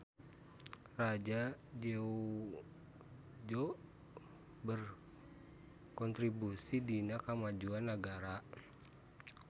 Raja Jeongjo berkotribusi dina kamajuan nagara.